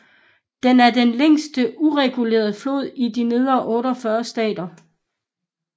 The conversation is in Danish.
Den er den længste uregulerede flod i de nedre 48 stater